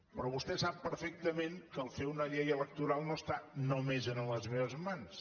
però sap perfectament que fer una llei electoral no està només a les meves mans